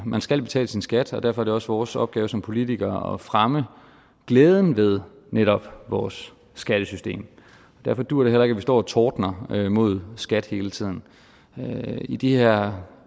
man skal betale sin skat og derfor er det også vores opgave som politikere at fremme glæden ved netop vores skattesystem derfor duer det heller ikke at vi står og tordner mod skat hele tiden i de her